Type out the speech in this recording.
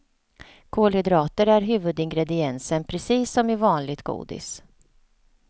Kolhydrater är huvudingrediensen precis som i vanligt godis.